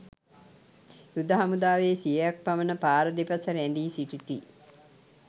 යුද හමුදාවේ සියයක් පමණ පාර දෙපස රැඳී සිටිති.